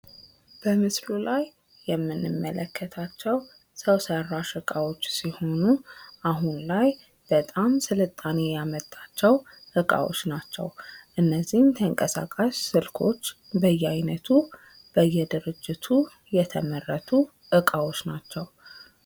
በምስሉ ላይ የምንመለከተው ሰው ሰራሽ እቃዎች ሲሆኑ፤ አሁን ላይ ስልጣኔ ያመጣቸው እቃዎች ናቸው። እነዚህም ተንቀሳቃሽ ስልኮች በየአይነቱ በየድርጅቱ የተመረቱ እቃዎች ናቸው።